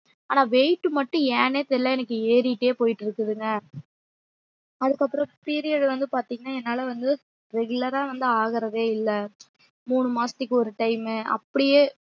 ஆனா weight மட்டும் ஏன்னே தெரில எனக்கு ஏறிகிட்டே போய்டுருக்குதுங்க அதுக்கு அப்புறம் period வந்து பாத்திங்கன்னா என்னால வந்து regular ரா வந்து ஆகுறதே இல்ல மூணு மாசத்துக்கு ஒரு time மு அப்டியே